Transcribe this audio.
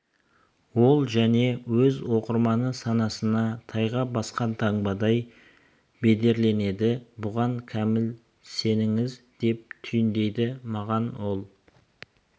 ол және өз оқырманы санасына тайға басқан таңбадай бедерленеді бұған кәміл сеніңіз деп түйіндейді маған ол